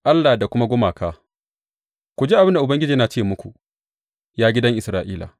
Allah da kuma gumaka Ku ji abin da Ubangiji yana ce muku, ya gidan Isra’ila.